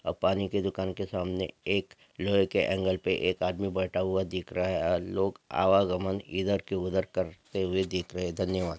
अपानी के दुकान के सामने एक लोहे के ऐंगल पे एक आदमी बैठा हुआ दिख रहा हैं औ लोक आवागमन इधर से उधर करते हुए दिख रहे हैं धन्यवाद।